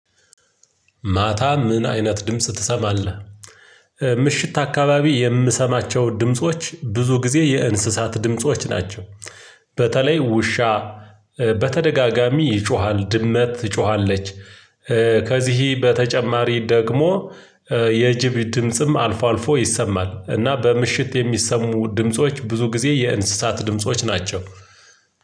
ማታ ምን አይነት ድምጽ ትሰማለህ? ምሽት አካባቢ የምሰማቸው ድምጾች ብዙ ጊዜ የእንስሳት ድምጾች ናቸው። በተለይ ውሻ በተደጋጋሚ ይጮሃል ድመት ትጮሃለች። ከዚህ በተጨማሪ ደግሞ የጅብ ድምጽም አልፎ አልፎ ይሰማል። እና በምሽት የሚሰሙ ድምጾች ብዙ ጊዜ የእንስሳት ድምጾች ናቸው።